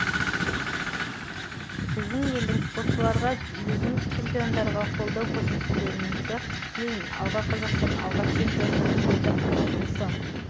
біздің елдің спортшыларға біздің чемпиондарға қолдау көрсетулеріңізді тілеймін алға қазақстан алға чемпиондар деді қанат ислам